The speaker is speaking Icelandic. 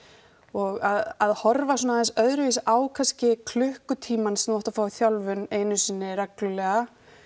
og að horfa svona aðeins öðruvísi á kannski klukkutímann sem þú átt að fá þjálfun einu sinni reglulega